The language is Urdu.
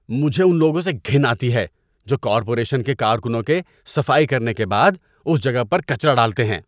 مجھے ان لوگوں سے گھن آتی ہے جو کارپوریشن کے کارکنوں کے صفائی کرنے کے بعد اس جگہ پر کچرا ڈالتے ہیں۔